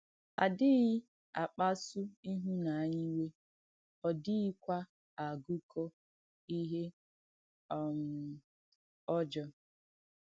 À dìghì àkpàsù ìhúnànyà ìwè, ọ̀ dìghìkwà àgúkọ̀ ìhé um ọ̀jọ̀.